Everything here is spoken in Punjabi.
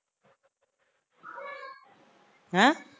ਹੈਂ